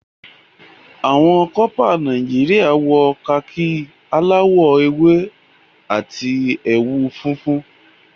Àwọn corper Nàìjíríà wọ khaki aláwò ewé àti ẹwù funfun.